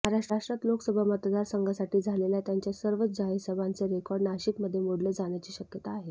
महाराष्ट्रात लोकसभा मतदारसंघासाठी झालेल्या त्यांच्या सर्वच जाहीर सभांचे रेकॉर्ड नाशिकमध्ये मोडले जाण्याची शक्यता आहे